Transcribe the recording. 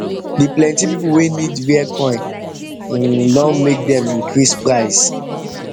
d plenti people wey need rare coin um don make dem increase price